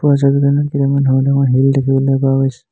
ওপৰৰ ছবিখনত কেইটামান সৰু ডাঙৰ শিল দেখিবলৈ পোৱা গৈছে।